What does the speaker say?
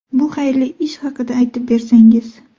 Bu xayrli ish haqida aytib bersangiz.